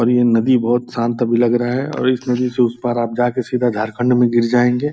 और ये नदी बहुत शांत भी लग रहा है और इस नदी से उस पर आप जा कर झारखंड में गिर जाएंगे।